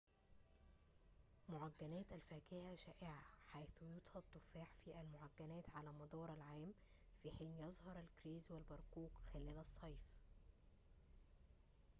معجنات الفاكهة شائعة حيث يُطهى التفاح في المعجنات على مدار العام في حين يظهر الكرز والبرقوق خلال الصيف